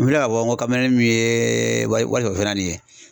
N filɛ ka fɔ n ko kamelenin min ye warisɔrɔ fɛn na nin ye